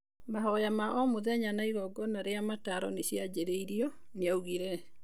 Mahoya ma omũthenya na igongona rĩa mataro nĩ cianjĩrĩirĩo, nĩ augĩre.